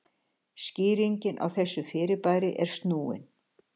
skýring á þessu fyrirbæri er snúin